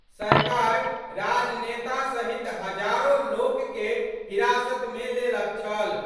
सरकार राजनेता सहित हजारों लोक के हिरासत मे लेलक छल।